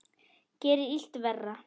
Gerir illt verra.